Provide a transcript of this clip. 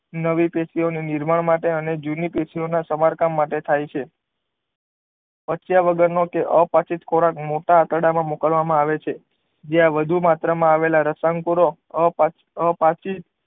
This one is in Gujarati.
નવી પેશી ઓ ના નિર્માણ માટે અને જૂની પેશી ઓ ના સમારકામ માટે થાય છે અતાત્યાગન નો કે અપાચિત ખોરાક મોટા આંતરડા માં મોકલવા માં આવે છે જ્યાં વધુ માત્ર માં આવેલા રસાયણ કુરો અપાચિત અપાચિત